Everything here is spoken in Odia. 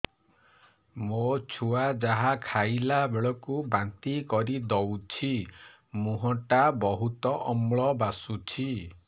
ମୋ ଛୁଆ ଯାହା ଖାଇଲା ବେଳକୁ ବାନ୍ତି କରିଦଉଛି ମୁହଁ ଟା ବହୁତ ଅମ୍ଳ ବାସୁଛି